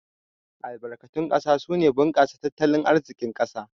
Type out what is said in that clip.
Albarkatun ƙasa suna bunkasa tattalin arzikin ƙasa